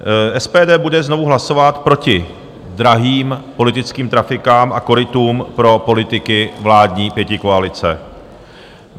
SPD bude znovu hlasovat proti drahým politickým trafikám a korytům pro politiky vládní pětikoalice.